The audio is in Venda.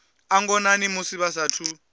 a ngonani musi vha saathu